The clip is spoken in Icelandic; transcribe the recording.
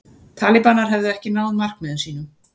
Talibanar hefðu ekki náð markmiðum sínum